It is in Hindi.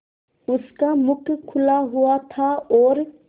उसका मुख खुला हुआ था और